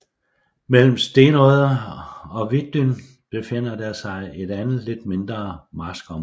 Mellem Stenodde og Vitdyn befinder der sig et andet lidt mindre marskområde